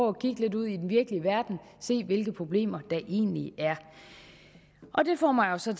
at kigge lidt ud i den virkelige verden og se hvilke problemer der egentlig er det får mig så